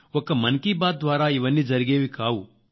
ఒక్క మన్ కీ బాత్ ద్వారా ఇవన్నీ జరిగేవి కావు